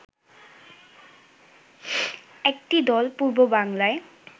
একটি দল পূর্ববাংলায়